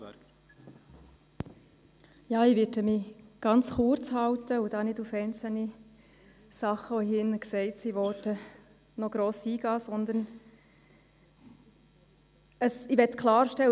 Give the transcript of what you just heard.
Ich werde mich ganz kurz halten und nicht gross auf einzelne Dinge eingehen, die hier drin erwähnt worden sind, sondern ich möchte klarstellen: